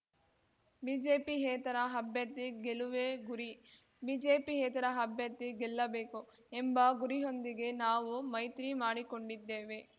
ಬಿಜೆಪಿಯೇತರ ಅಭ್ಯರ್ಥಿ ಗೆಲುವೇ ಗುರಿ ಬಿಜೆಪಿಯೇತರ ಅಭ್ಯರ್ಥಿ ಗೆಲ್ಲಬೇಕು ಎಂಬ ಗುರಿಯೊಂದಿಗೆ ನಾವು ಮೈತ್ರಿ ಮಾಡಿಕೊಂಡಿದ್ದೇವೆ